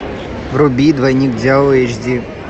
вруби двойник дьявола эйч ди